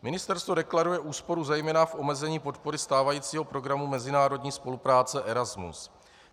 Ministerstvo deklaruje úsporu zejména v omezení podpory stávajícího programu mezinárodní spolupráce Erasmus.